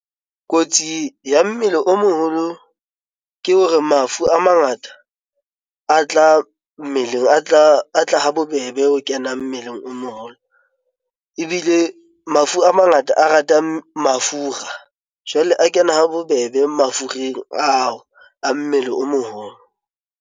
Kotsi ya mmele o moholo ke hore mafu a mangata a tla mmeleng atla ha bobebe ho kena mmeleng o mo haholo ebile mafu a mangata a ratang mafura jwale a kena ha bobebe mafureng ao a mmele o moholo.